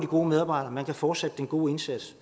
gode medarbejdere man kan fortsætte den gode indsats